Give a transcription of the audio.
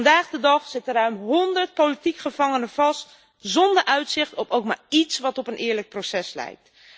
Vandaag de dag zitten ruim 100 politieke gevangenen vast zonder uitzicht op ook maar iets wat op een eerlijk proces lijkt.